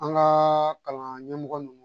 An ka kalan ɲɛmɔgɔ ninnu